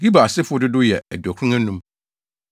Gibar asefo dodow yɛ 2 95 1